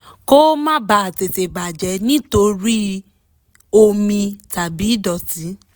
kó o má bàa tètè bà jẹ́ nítorí omi tàbí ìdọ̀tí